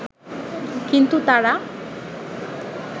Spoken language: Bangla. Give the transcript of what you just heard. কিন্তু তারা